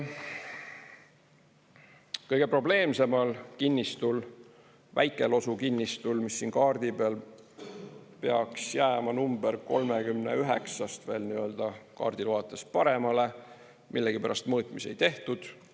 Kõige probleemsemal kinnistul, Väike-Losu kinnistul, mis siin kaardi peal peaks jääma nr 39-st kaardile vaadates paremale, millegipärast mõõtmisi tehtud.